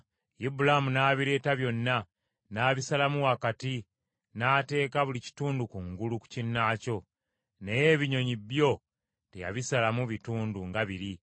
Ibulaamu n’abireeta byonna n’abisalamu wakati n’ateeka buli kitundu kungulu ku kinnaakyo, naye ebinyonyi byo teyabisalamu bitundu nga biri.